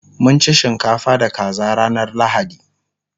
mun ci shinkafa da kaza ranar lahadi